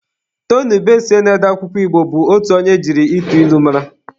Tony Ubesie na-ede akwụkwọ Igbo bụ otu onye e jiri ịtụ ilu mara.